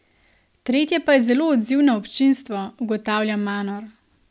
Tretje pa je zelo odzivno občinstvo, ugotavlja Manor.